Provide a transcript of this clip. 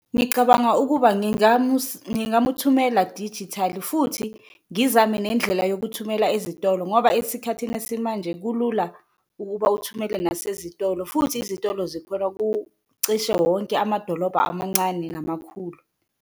Ngicabanga ukuba ngingamuthumela dijithali futhi ngizame nendlela yokuthumela ezitolo ngoba esikhathini esimanje kulula ukuba uthumele nasezitolo, futhi izitolo zikhona kucishe wonke amadolobha amancane namakhulu.